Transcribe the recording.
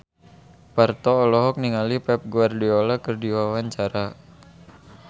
Parto olohok ningali Pep Guardiola keur diwawancara